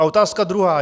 A otázka druhá.